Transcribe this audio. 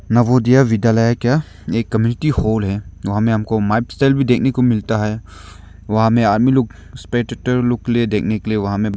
नवोदय विद्यालय का एक committee hall है वहां में हमको मैप सेल भी देखने को मिलता है वहां में आर्मी लोग लोग के लिए देखने के लिए वहां में--